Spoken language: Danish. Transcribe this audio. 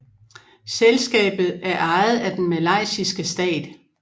Selskabet er ejet af den malaysiske stat